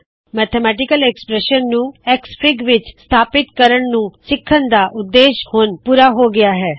ਗਣਿਤ ਐਕ੍ਸਪ੍ਰੈੱਸ਼ਨ ਨੂੰ ਐਕਸਐਫਆਈਜੀ ਵਿੱਚ ਸਥਾਪਿੱਤ ਕਰਣ ਨੂੰ ਸਿੱਖਣ ਦਾ ਉਦੇਸ਼ ਹੁਣ ਪੂਰਾ ਹੋ ਗਇਆ ਹੈ